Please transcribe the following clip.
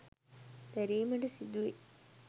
දැරීමට සිදුවෙයි.